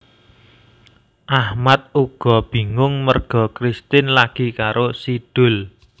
Achmad uga bingung merga Kristin lagi karo Si Doel